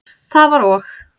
Það var og.